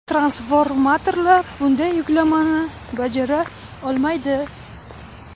Transformatorlar bunday yuklamani bajara olmaydi.